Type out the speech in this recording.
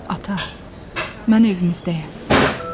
Ata, mən evimizdəyəm.